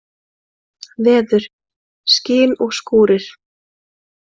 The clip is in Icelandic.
Veður: Skin og skúrir.